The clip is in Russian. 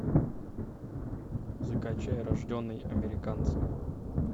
закачай рожденный американцем